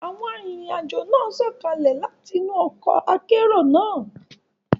Awọn arinrin-ajo náà sọkalẹ láti inú ọkọ akero náà